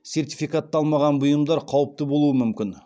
сертификатталмаған бұйымдар қауіпті болуы мүмкін